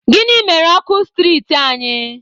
Gịnị mere ọkụ striiti anyị?